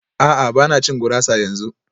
A'a ba na cin gurasa yanzu